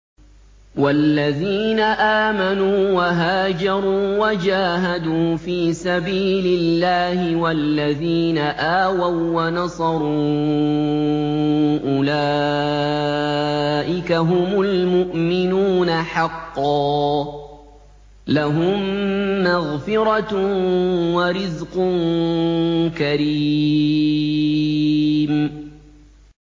وَالَّذِينَ آمَنُوا وَهَاجَرُوا وَجَاهَدُوا فِي سَبِيلِ اللَّهِ وَالَّذِينَ آوَوا وَّنَصَرُوا أُولَٰئِكَ هُمُ الْمُؤْمِنُونَ حَقًّا ۚ لَّهُم مَّغْفِرَةٌ وَرِزْقٌ كَرِيمٌ